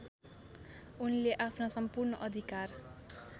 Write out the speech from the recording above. उनले आफ्ना सम्पूर्ण अधिकार